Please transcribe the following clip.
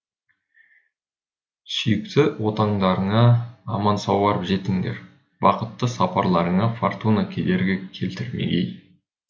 сүйікті отандарыңа аман сау барып жетіңдер бақытты сапарларыңа фортуна кедергі келтірмегей